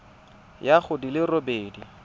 ya go di le robedi